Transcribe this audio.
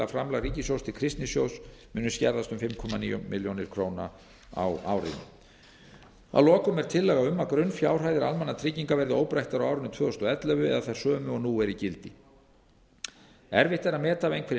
að framlag ríkissjóðs til kristnisjóðs muni skerðast um fimm komma níu milljónir króna á árinu að lokum er tillaga um að grunnfjárhæðir almannatrygginga verði óbreyttar á árinu tvö þúsund og ellefu það er þær sömu og nú eru í gildi erfitt er að meta af einhverri